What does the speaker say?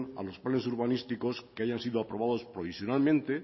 a los planes urbanísticos que hayan sido aprobados provisionalmente